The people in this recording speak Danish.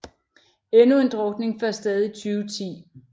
Endnu en drukning fandt sted i 2010